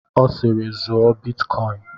Ọ siiri, zụọ bitkọin!